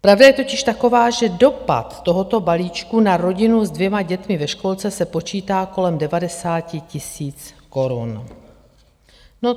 Pravda je totiž taková, že dopad tohoto balíčku na rodinu s dvěma dětmi ve školce se počítá kolem 90 tisíc korun.